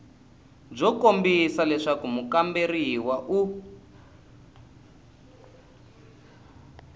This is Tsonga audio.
byo kombisa leswaku mukamberiwa u